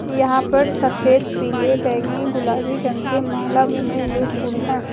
यहां पर सफेद पीले बैंगनी गुलाबी रंग के माला बने हुए फूल हैं।